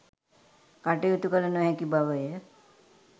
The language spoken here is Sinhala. කටයුතු කළ නොහැකි බව ය